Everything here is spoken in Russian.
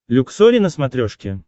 люксори на смотрешке